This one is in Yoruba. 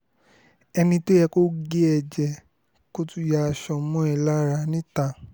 ẹni tó yẹ kó gé e jẹ́ kó tún já aṣọ mọ́ ẹ lára níta